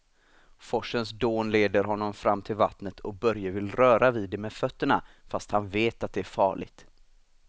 Forsens dån leder honom fram till vattnet och Börje vill röra vid det med fötterna, fast han vet att det är farligt.